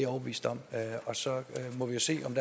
overbevist om og så må vi jo se om